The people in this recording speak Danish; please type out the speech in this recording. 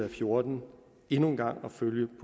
og fjorten endnu en gang at følge